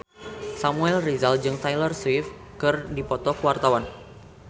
Samuel Rizal jeung Taylor Swift keur dipoto ku wartawan